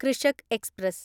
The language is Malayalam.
കൃഷക് എക്സ്പ്രസ്